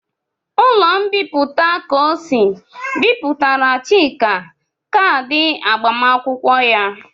Ụlọ mbipụta Kosi Bipụtara Chika kaadị agbamakwụkwọ ya.